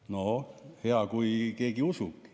No hea, kui keegi usub.